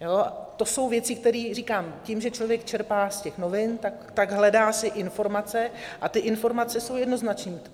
To jsou věci, které, říkám, tím, že člověk čerpá z těch novin, tak si hledá informace a ty informace jsou jednoznačné.